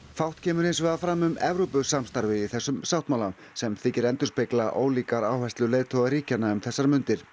fátt kemur hins vegar fram um Evrópusamstarfið í þessum sáttmála sem þykir endurspegla ólíkar áherslur leiðtoga ríkjanna um þessar mundir